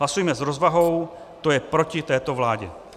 Hlasujme s rozvahou, to je proti této vládě.